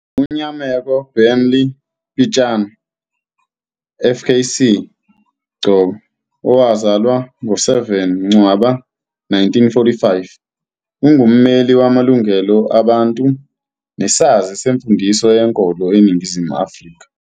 UNyameko Barney Pityana FKC GCOB, owazalwa ngo-7 Ncwaba 1945, ungummeli wamalungelo abantu nesazi semfundiso yenkolo eNingizimu Afrika.